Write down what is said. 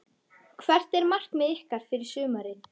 Hvert er markmið ykkar fyrir sumarið?